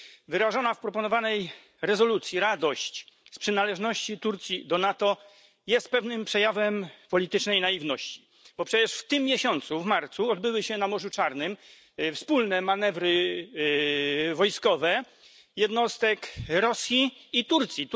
Wyrażona w proponowanej rezolucji radość z przynależności Turcji do NATO jest pewnym przejawem politycznej naiwności, bo przecież w tym miesiącu w marcu odbyły się na Morzu Czarnym wspólne manewry wojskowe jednostek Rosji i Turcji.